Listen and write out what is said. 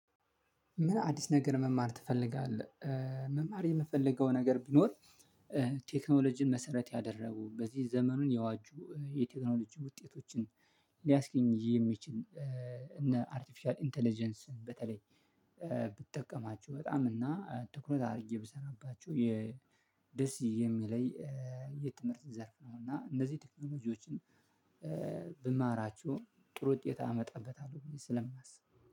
ምን? አዲስ ነገር መማር ትፈልጋለህ መማር የምፈልገው ነገር ቢኖር ቴክኖሎጂን መሰረት ያደረጉ በዚህ ዘመኑን የዋጁ የቴክኖሎጂ ውጤቶችን ሊያስገኝ የሚችል እነ አርቲፊሻል ኢንተለጀንስ በተለይ ብትጠቀማቸው በጣም እና ትኩረት አድርጌ ብሰራባቸው የደስ የሚለይ የትምህርት ዘርፍ ነው። እና እነዚህ ቴክኖሎጂዎችን ብማራቸው ጥሩ ውጤት አመጣበታለሁ ብዬ ስለማስብ